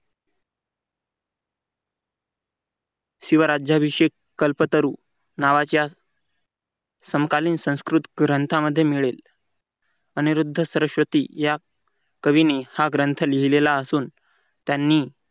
शिवराज्याभिषेक कल्पतरू नावाच्या समकालीन संस्कृत संस्कृत ग्रंथ मध्ये मिळेल. अनिरुद्ध सरस्वती या कवीने हा ग्रंथ लिहिलेला असून त्यांनी